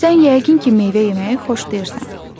Sən yəqin ki, meyvə yeməyi xoşlayırsan.